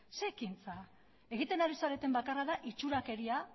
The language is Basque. ekintza egiten ari zareten bakarra da itxurakeria